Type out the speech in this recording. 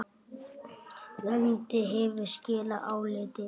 Nefndin hefur skilað áliti.